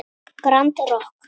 Grand Rokk.